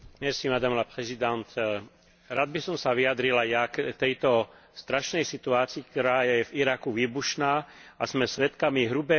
Rád by som sa vyjadril aj ja k tejto strašnej situácii, ktorá je v Iraku výbušná a pri ktorej sme svedkami hrubého porušovania ľudských práv.